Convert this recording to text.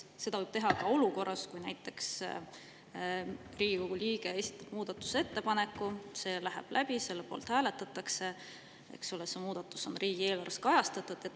Seda võib teha ka olukorras, kus näiteks Riigikogu liige esitab muudatusettepaneku, see läheb läbi, selle poolt hääletatakse ja see muudatus on riigieelarves kajastatud.